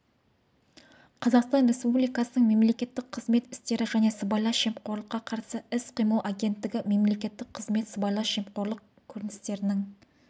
қазақстан республикасының мемлекеттік қызмет істері және сыбайлас жемқорлыққа қарсы іс-қимыл агенттігі мемлекеттік қызмет сыбайлас жемқорлық көріністерінің